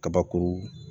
Kabakuru